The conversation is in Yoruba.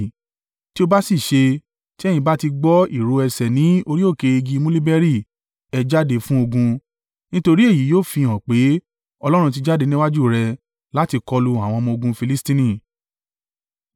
Tí ó bá sì ṣe, tí ẹ̀yin bá ti gbọ́ ìró ẹsẹ̀ ní orí òkè igi muliberi, ẹ jáde fún ogun, nítorí èyí yóò fihàn pé Ọlọ́run ti jáde níwájú rẹ láti kọlu àwọn ọmọ-ogun Filistini.”